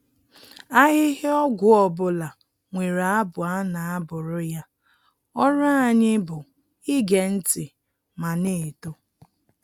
Ahịhịa ọgwụ ọbụla nwere abụ a na-abụrụ ya, ọrụ anyị bụ ige ntị ma na-eto.